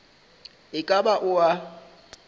e ka ba o a